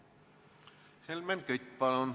Helmen Kütt, palun!